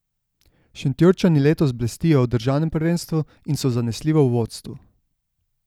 Šentjurčani letos blestijo v državnem prvenstvu in so zanesljivo v vodstvu.